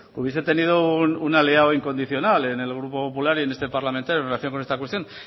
hubiese tenido un aliado incondicional en el grupo popular y en este parlamentario en relación con esta cuestión